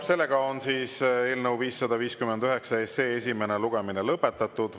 Eelnõu 559 esimene lugemine on lõpetatud.